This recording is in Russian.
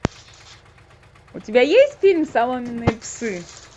у тебя есть фильм соломенные псы